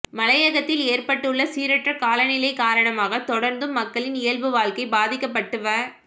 மலையகத்தில் ஏற்பட்டுள்ள சீரற்ற காலநிலை காரணமாக தொடர்ந்தும் மக்களின் இயல்பு வாழ்க்கை பாதிக்கப்பட்டு வ